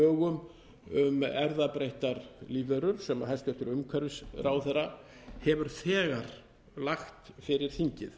lögum um erfðabreyttar lífverur sem hæstvirtur umhverfisráðherra hefur þegar lagt fyrir þingið